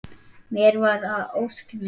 Mér varð að ósk minni.